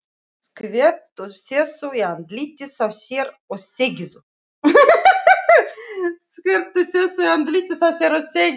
Skvettu þessu í andlitið á þér og þegiðu.